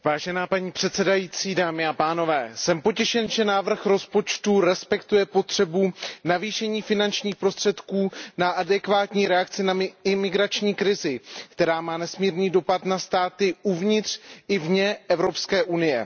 Paní předsedající, jsem potěšen, že návrh rozpočtu respektuje potřebu navýšení finančních prostředků na adekvátní reakce na imigrační krizi, která má nesmírný dopad na státy uvnitř i vně Evropské unie.